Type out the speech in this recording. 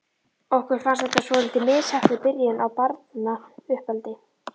Okkur fannst þetta svolítið misheppnuð byrjun á barnauppeldi.